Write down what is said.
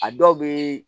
A dɔw bɛ